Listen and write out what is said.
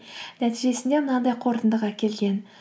нәтижесінде мынандай қорытындыға келген